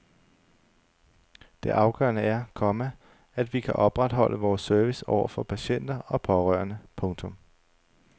Det afgørende er, komma at vi kan opretholde vores service over for patienter og pårørende. punktum